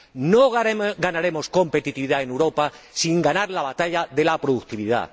No ganaremos competitividad en Europa sin ganar la batalla de la productividad.